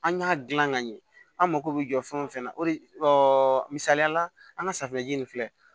An y'a dilan ka ɲɛ an mago bɛ jɔ fɛn o fɛn na o de misaliya la an ka safinɛji in filɛ